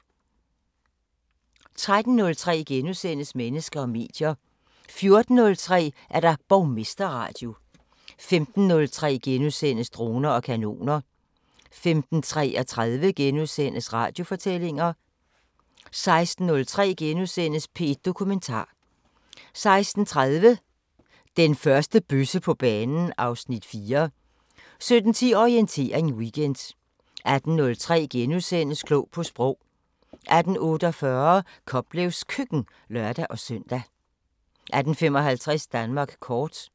13:03: Mennesker og medier * 14:03: Borgmesterradio 15:03: Droner og kanoner * 15:33: Radiofortællinger * 16:03: P1 Dokumentar * 16:30: Den første bøsse på banen (Afs. 4) 17:10: Orientering Weekend 18:03: Klog på Sprog * 18:48: Koplevs Køkken (lør-søn) 18:55: Danmark kort